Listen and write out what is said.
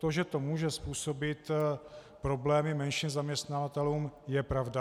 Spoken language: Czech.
To, že to může způsobit problémy menším zaměstnavatelům, je pravda.